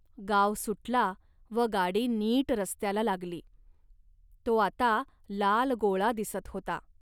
गाव सुटला व गाडी नीट रस्त्याला लागली. तो आता लाल गोळा दिसत होता